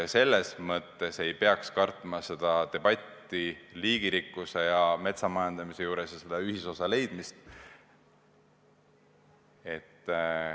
Selles mõttes me ei tohi karta debatti, liigirikkuse ja metsamajandamise ühisosa otsimist.